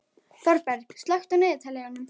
Þorberg, slökktu á niðurteljaranum.